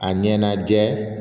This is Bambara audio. A ɲɛnajɛ